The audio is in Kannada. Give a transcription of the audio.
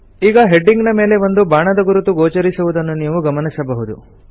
ಈಗ ಹೆಡಿಂಗ್ ನ ಮೇಲೆ ಒಂದು ಬಾಣದ ಗುರುತು ಗೋಚರಿಸುವುದನ್ನು ನೀವು ಗಮನಿಸಬಹುದು